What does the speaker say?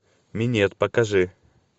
минет покажи